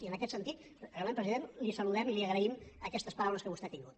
i en aquest sentit realment president les saludem i les hi agraïm aquestes paraules que vostè ha tingut